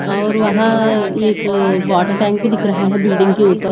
और वहां एक वाटर टैंक भी दिख रहा है बिल्डिंग के ऊपर।